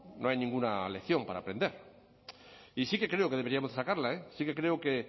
no hay ninguna lección para aprender y sí que creo que deberíamos sacarla sí que creo que